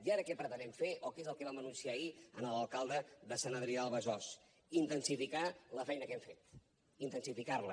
i ara què pretenem fer o què és el que vam anunciar ahir a l’alcalde de sant adrià de besòs intensificar la feina que hem fet intensificar la